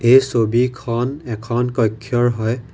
এই ছবিখন এখন কক্ষৰ হয়।